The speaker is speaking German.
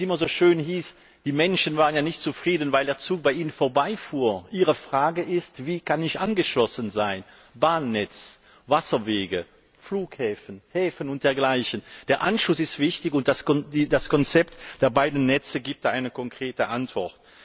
Wie es immer so schön hieß Die Menschen waren ja nicht zufrieden, weil der Zug bei ihnen vorbei fuhr, sondern ihre Frage war Wie kann ich angeschlossen werden an Bahnnetz, Wasserwege, Flughäfen, Häfen und dergleichen. Der Anschluss ist wichtig, und das Konzept der beiden Netze gibt da eine konkrete Antwort.